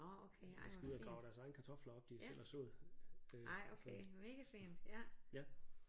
Og de skal ud og grave deres egne kartofler op de selv har sået øh så ja